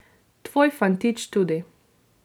Tvoj fantič tudi.